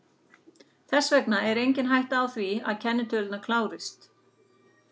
Þess vegna er engin hætta á því að kennitölurnar klárist.